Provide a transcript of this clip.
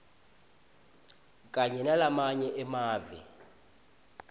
kanye nalamanye emave